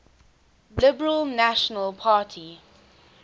liberal national party